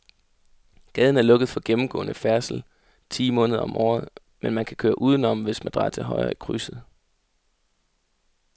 Gaden er lukket for gennemgående færdsel ti måneder om året, men man kan køre udenom, hvis man drejer til højre i krydset.